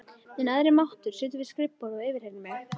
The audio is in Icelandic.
Minn æðri máttur situr við skrifborð og yfirheyrir mig.